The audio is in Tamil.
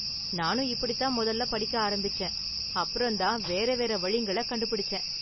நானும் இப்படிதான் மொதல்ல படிக்க ஆரம்பிச்சேன், அப்பறம்தான் வேற வேற வழிங்கள கண்டுபிடிச்சேன்.